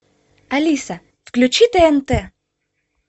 алиса включи тнт